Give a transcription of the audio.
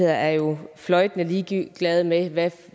er jo fløjtende ligeglade med hvad